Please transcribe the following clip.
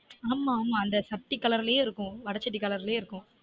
ஆமா ஆமா அந்த சட்டி color லயே இருக்கும் வட சட்டி color லயே இருக்கும்